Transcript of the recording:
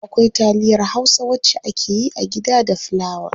Akwai taliyar hausa wacce akeyi a gida da fulawa.